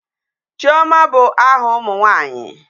Chioma bụ aha ụmụ nwanyi.